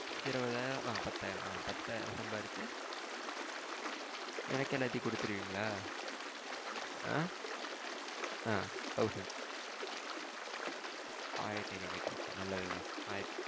இருபதாயிரம் ஆ பத்தாயிரம் ஆ பத்தாயிரம் சம்பாதிச்சா எனக்கென்னாட்டி கொடுத்திருவிங்க்களா ஆ ஆ thousand ஆயிரத்து ஐந்நூறு ரூபாய்க்கு okay நல்லதுதான்.